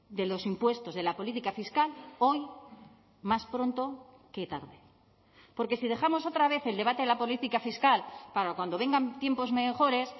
de los impuestos de la política fiscal hoy más pronto que tarde porque si dejamos otra vez el debate de la política fiscal para cuando vengan tiempos mejores